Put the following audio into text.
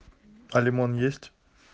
а лимон есть